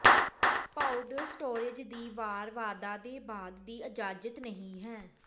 powder storage ਦੀ ਵਾਰ ਵਾਧਾ ਦੇ ਬਾਅਦ ਦੀ ਇਜਾਜ਼ਤ ਨਹੀ ਹੈ